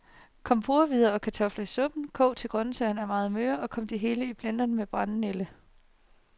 Kom porrehvider og kartofler i suppen, kog til grøntsagerne er meget møre, og kom det hele i blenderen med brændenælderne.